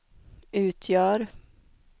utgör